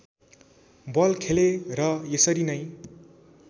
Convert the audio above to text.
बल खेले र यसरी नै